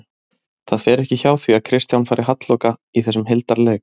Það fer ekki hjá því að Kristján fari halloka í þessum hildarleik